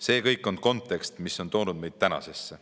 See kõik on kontekst, mis on toonud meid tänasesse.